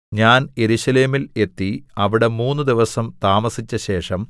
ഞാൻ യെരൂശലേമിൽ എത്തി അവിടെ മൂന്ന് ദിവസം താമസിച്ചശേഷം